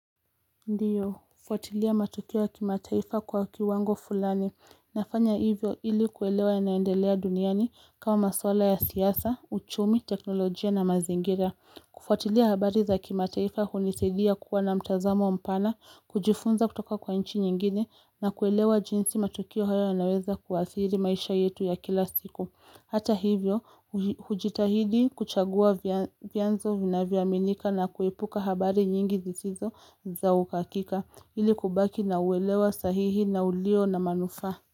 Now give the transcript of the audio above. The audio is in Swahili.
Ndiyo, kufuatilia matukio ya kimataifa kwa kiwango fulani. Nafanya hivyo ili kuelewa ya naendelea duniani kama maswala ya siyasa, uchumi, teknolojia na mazingira. Kufuatilia habari za kimataifa hunisaidia kuwa na mtazamo mpana, kujifunza kutoka kwa nchi nyingine na kuelewa jinsi matukio haya yanaweza kuadhiri maisha yetu ya kila siku. Hata hivyo, hujitahidi kuchagua vyanzo vinavyaminika na kuepuka habari nyingi zizizo za ukakika ili kubaki na uwelewa sahihi na ulio na manufaa.